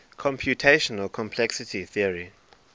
computational complexity theory